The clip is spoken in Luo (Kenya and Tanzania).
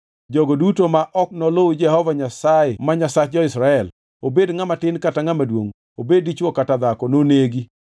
Jogo duto ma ok noluw Jehova Nyasaye ma Nyasach jo-Israel, obed ngʼama tin kata maduongʼ, obed dichwo kata dhako nonegi.